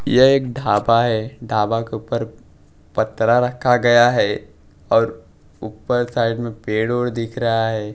यह एक ढाबा है ढाबा के ऊपर पतरा रखा गया है और ऊपर साइड में पेड़ वेड़ दिख रहा हैं।